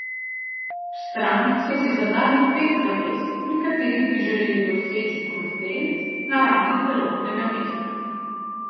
V stranki so si zadali pet zavez, pri katerih bi želeli doseči konsenz na ravni celotnega mesta.